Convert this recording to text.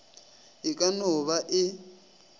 e ka no ba e